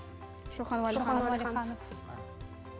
шоқан уәлиханов